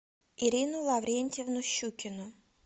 ирину лаврентьевну щукину